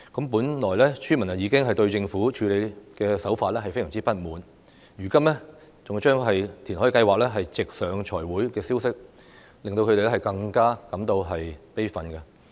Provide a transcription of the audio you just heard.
本來村民已經對政府的處理手法非常不滿，如今更將填海計劃直上財委會，這消息令他們更加感到悲憤。